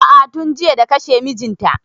A'a tun jiya da kashe mijin ta